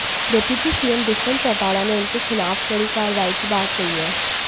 deputy CM Dushyant Chautala ने उनके खिलाफ कड़ी कार्रवाई की बात कही है